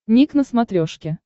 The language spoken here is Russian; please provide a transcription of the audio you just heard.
ник на смотрешке